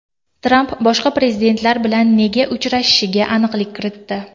Tramp boshqa prezidentlar bilan nega uchrashishiga aniqlik kiritdi.